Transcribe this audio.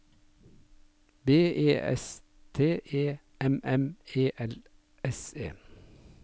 B E S T E M M E L S E